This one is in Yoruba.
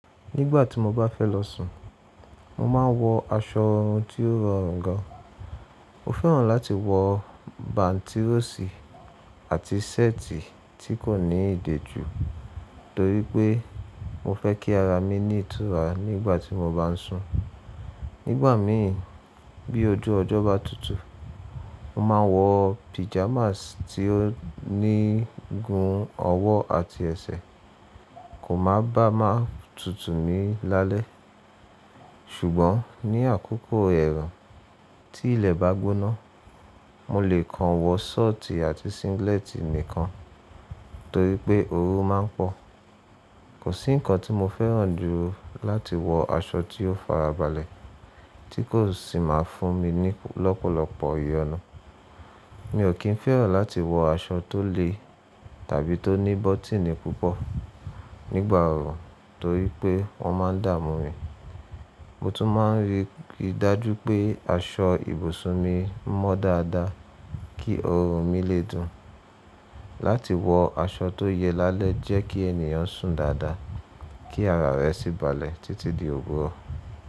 Nígbà tí mo bá fẹ́ lọ sùn, mo máa n wọ aṣọ tiọ rorùn gan. Mo fẹ́ràn láti wọ bántírọ̀sì àti ṣẹ́ẹ̀tì tí kò ní ìdè ju torípé mo fẹ́ kí ara mi ni ìtura nígbà tí mo bá n sùn. Nígbà mi bí ojú ọjọ́ bá tutù, mo ma wọ pijamasi tí ó ní gun ọwọ́ àti ẹsẹ̀, kò má bá má tutù ni lálẹ́. Ṣùgbọ́n ní àkókò ẹ̀rùn tí ilẹ̀ bá gbóná, mo lè kan wọ ṣọ́ọ̀tì àti singílẹ́tì nìkan torípé oru ma n pọ̀. Kò sí nǹkan tí mo fẹ́ràn jù láti wọ aṣọ tí ó farabalẹ̀ tí kò sì má a fún mi ní lọ́pọ̀lọpọ̀ ìyọnu. Mi ò kín fẹ́ràn láti wọ aṣọ tó le tàbí tó ní bọ́tíìnì púpọ̀ nígbà òòrùn torípé wọ́n ma n dà mú mi. Mo tún ma n rí i dájú pé aṣọ ibùsùn mi mọ́ dáadáa kí oorun mi lè dùn. Láti wọ aṣọ tó yẹ lálẹ́ jẹ́ kí ènìyàn sùn dáadáa, kí ara rẹ sì balẹ̀ títí di owuro.